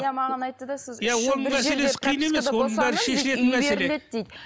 иә маған айтты да